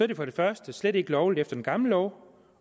det for det første slet ikke lovligt efter den gamle lov